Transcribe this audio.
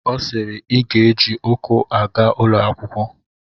Ọ sịịrị I ga-eji ụkwụ aga ụlọ akwụkwọ!